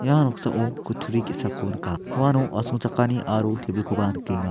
ia noksao kutturi ge·sako nika uano asongchakani aro tebilkoba nikenga.